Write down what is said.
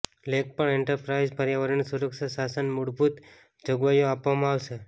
લેખ પણ એન્ટરપ્રાઇઝ પર્યાવરણીય સુરક્ષા શાસન મૂળભૂત જોગવાઈઓ આપવામાં આવશે